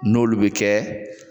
N'olu bi kɛ